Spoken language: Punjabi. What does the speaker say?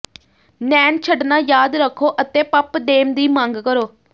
ਨੈਨ ਛੱਡਣਾ ਯਾਦ ਰੱਖੋ ਅਤੇ ਪਪਡੇਮ ਦੀ ਮੰਗ ਕਰੋ